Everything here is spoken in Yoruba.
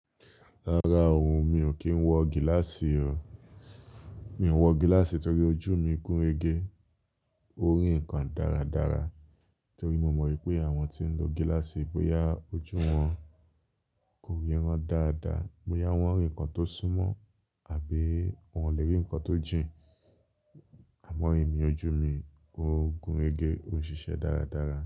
Rárá ooo, mi ò kí ń wọ gíláàsì o. Mi ò ń wọ gíláàsì torí ojú mi gún régé, ó rí nǹkan dáradára torí mo mọ̀ wípé àwọn tí ń lo gíláàsì bóyá ojú wọn kò yé wọn dáadáa, bóyá wọ́n rí ǹkan tó súnmọ́ àbí wọn ò lè rí ǹkan tó jìn. Àmọ́ ẹ̀mí ojú mi ó gún régé, ó ń ṣiṣẹ́ dáradára.